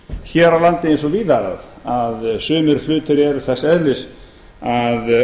hér á landi eins og víðar að sumir hlutir eru þess eðlis að